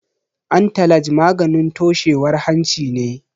Antalaj maganin toshewar hanci ne.